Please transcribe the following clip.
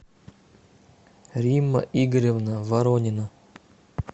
римма игоревна воронина